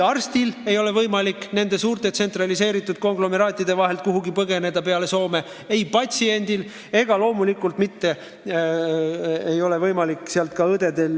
Arstil ei ole võimalik nende suurte tsentraliseeritud konglomeraatide vahelt muudmoodi pääseda kui põgeneda Soome, ka õdedel ja abipersonalil pole kuskile mujale põgeneda kui Soome.